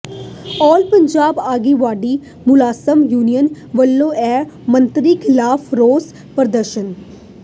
ਆਲ ਪੰਜਾਬ ਆਂਗਣਵਾੜੀ ਮੁਲਾਜ਼ਮ ਯੂਨੀਅਨ ਵਲੋਂ ਵਿੱਤ ਮੰਤਰੀ ਿਖ਼ਲਾਫ਼ ਰੋਸ ਪ੍ਰਦਰਸ਼ਨ